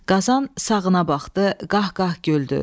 Qazan sağına baxdı, qaqqa güldü.